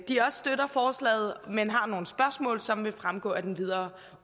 de også støtter forslaget men har nogle spørgsmål som vil fremgå af den videre